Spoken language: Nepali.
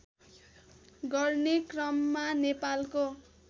गर्ने क्रममा नेपालको